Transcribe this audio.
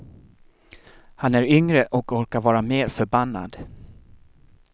Han är yngre och orkar vara mer förbannad.